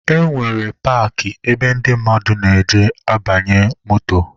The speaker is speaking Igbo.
E nwere paakị ebe ndị mmadụ na-eje abanye moto.